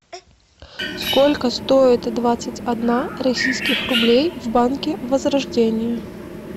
сколько стоит двадцать одна российских рублей в банке возрождение